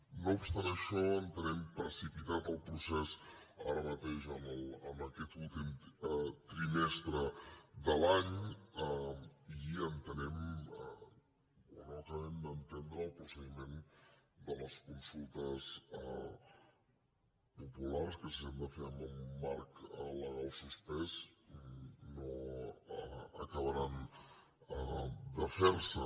no obstant això entenem precipitat el procés ara mateix en aquest últim trimestre de l’any i no acabem d’entendre el procediment de les consultes populars que si s’han de fer en el marc legal suspès no acabaran de ferse